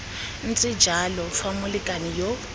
ntse jalo fa molekane yo